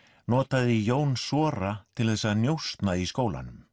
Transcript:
notaði Jón sora til þess að njósna í skólanum